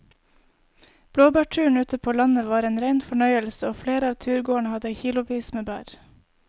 Blåbærturen ute på landet var en rein fornøyelse og flere av turgåerene hadde kilosvis med bær.